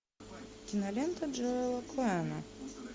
кинолента джоэла коэна